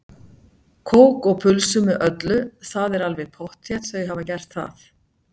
Kók og pulsu með öllu, það er alveg pottþétt, þau hafa gert það.